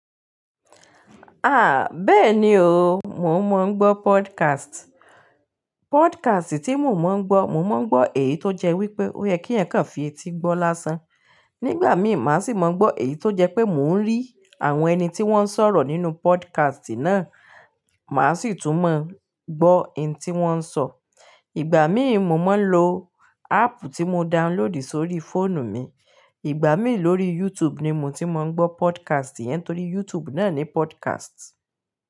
Bẹ́ẹ̀ni o, mò ń mọ̀ gbọ́ podcast. Podcast tí mò ń mọ̀ gbọ́, mò mọ̀ gbọ́ èyí tó jẹ́ wípé ó yẹ kí ènìyàn kàn fi etí gbọ́ lásán. Nígbà mí, màá sì máa gbọ́ èyí tó jẹ́ pé mò ń rí àwọn ẹni tí wọ́n ń sọ̀rọ̀ nínú podcast náà, màá sì tún mọ̀ gbọ́ ohun tí wọ́n ń sọ. Ìgbà mí, mo máa ń lo app tí mo download sórí fóònù mi. Ìgbà mí lórí YouTube ni mo ti máa ń gbọ́ podcast yẹn torí YouTube náa ní podcast.